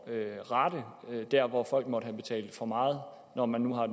at rette der hvor folk måtte have betalt for meget når man nu har